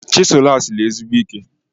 Chisel a siri ezigbo ike.